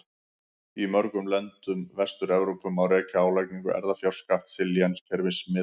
Í mörgum löndum Vestur-Evrópu má rekja álagningu erfðafjárskatts til lénskerfis miðalda.